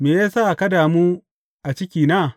Me ya sa ka damu a cikina?